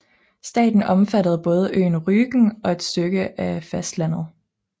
Staten omfattede både øen Rügen og et stykke af fastlandet